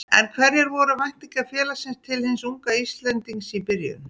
En hverjar voru væntingar félagsins til hins unga Íslendings í byrjun?